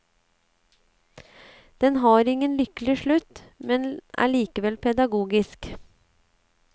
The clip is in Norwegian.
Den har ingen lykkelig slutt, men er likevel pedagogisk.